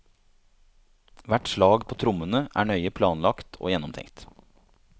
Hvert slag på trommene er nøye planlagt og gjennomtenkt.